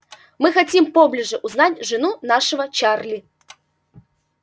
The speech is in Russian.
мы хотим поближе узнать жену нашего чарли